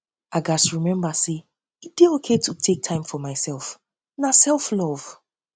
i gats remember say e dey okay to take time for take time for myself na selflove